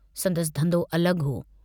संदसि धन्धो अलग हो।